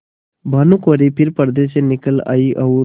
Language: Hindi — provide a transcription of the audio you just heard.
भानुकुँवरि फिर पर्दे से निकल आयी और